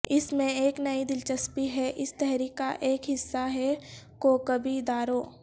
اس میں ایک نئی دلچسپی ہے اس تحریک کا ایک حصہ ہے کوکبی اداروں